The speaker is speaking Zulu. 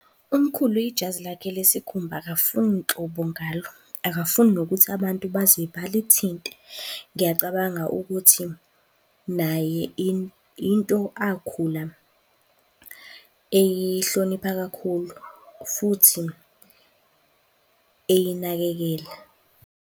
Umkhulu, ijazi lakhe lesikhumba akafuni nhlobo ngalo. Akafuni nokuthi abantu baze balithinte. Ngiyacabanga ukuthi naye into akhula eyihlonipha kakhulu futhi eyinakekela.